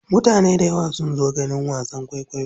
Mutane dayawa sun zo ganin wasan kwaikwayo.